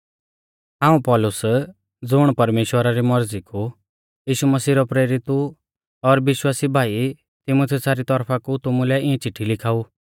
हाऊं पौलुस ज़ुण परमेश्‍वरा री मौरज़ी कु यीशु मसीह रौ प्रेरित ऊ और विश्वासी भाई तीमुथियुसा री तौरफा कु तुमुलै इऐं चिट्ठी लिखाऊ